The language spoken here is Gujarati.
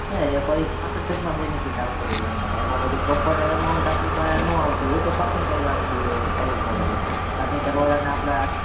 ના એ પછી benefit આવતો હોય એમાં એમાં પછી proper amount આપડી પાહે નો આવતી હોત percentage વાળું બી કરવું પડે છે તરણેતર વાળા ને આપડા